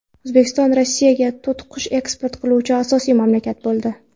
O‘zbekiston Rossiyaga to‘tiqush eksport qiluvchi asosiy mamlakat bo‘ldi.